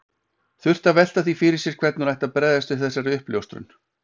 Þurfti að velta því fyrir sér hvernig hún ætti að bregðast við þessari uppljóstrun.